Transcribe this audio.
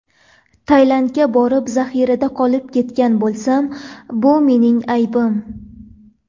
Tailandga borib zaxirada qolib ketgan bo‘lsam, bu mening aybim.